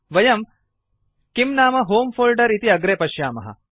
वयं किम् नाम होमे फोल्डर इति अग्रे पश्यामः